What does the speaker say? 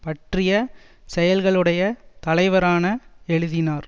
பற்றிய செயல்களுடைய தலைவரான எழுதினார்